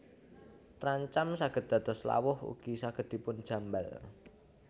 Trancam saged dados lawuh ugi saged dipun jambal